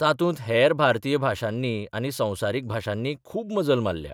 तातूंत हेर भारतीय भाशांनी आनी संवसारीक भाशांनी खूब मजल मारल्या.